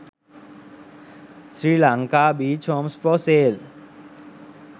sri lanka beach homes for sale